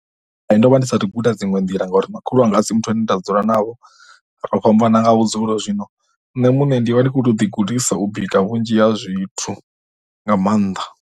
Ndo vha ndi sathu guda dziṅwe nḓila ngauri makhulu wanga a si muthu ane nda dzula navho, ro fhambana nga vhudzulo, zwino nṋe muṋe ndi vha ndi kho to ḓigudisa u bika vhunzhi ha zwithu nga maanḓa.